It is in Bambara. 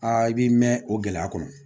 Aa i b'i mɛn o gɛlɛya kɔnɔ